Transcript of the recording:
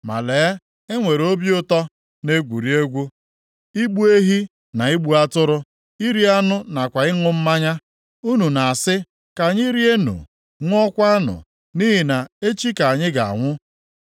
Ma lee, e nwere obi ụtọ, na-egwuri egwu; igbu ehi na igbu atụrụ, iri anụ nakwa ịṅụ mmanya. Unu na-asị, “Ka anyị rienụ, ṅụọkwanụ, nʼihi na echi ka anyị ga-anwụ.”